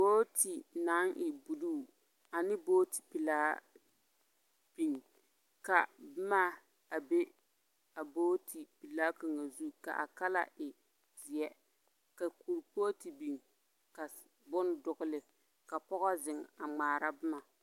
Booti naŋ e buluu ane booti pelaa bin, ka boma a be a booti pelaa kaŋa zu k'a kala e zeɛ. Ka kurpoote bin ka s... bon dogele, ka pɔgɔ zeŋ a ŋmaara boma.